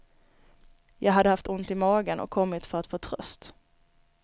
Jag hade haft ont i magen och kommit för att få tröst.